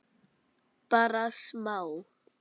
Bara smá.